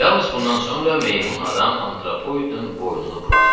Yalnız bundan sonra meymun adam antropoidin boynunu buraxdı.